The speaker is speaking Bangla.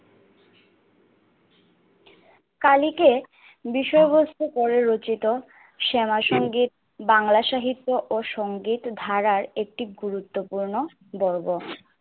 কালীকে বিষয়বস্তু পরে রচিত শ্যামাসংগীত বাংলা সাহিত্য ও সংগীত ধারার একটি গুরুত্বপূর্ণ পর্ব।